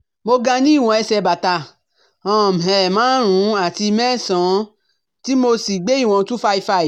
Mo ga ní ìwọ̀ ẹsẹ̀ bàtà um márùn-ún àti mẹ́sàn-án tí mo sì gbé ìwọn two hundred and fifty-five